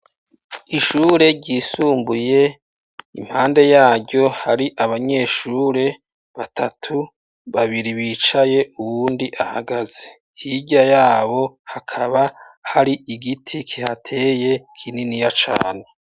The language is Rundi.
Ishure ryisumbuye impande yaryo hari abanyeshure batatu babiri bicaye uwundi ahagaze hirya yabo hakaba hari igiti kihateye kininiya cane.